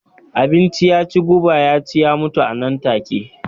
Abinci ya ci guba ya ci ya mutu a nan take.